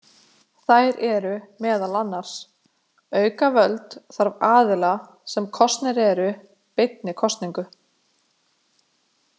Þær eru meðal annars: Auka völd þarf aðila sem kosnir eru beinni kosningu.